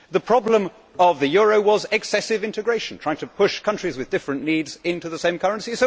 The problem of the euro was excessive integration, trying to push countries with different needs into the same currency.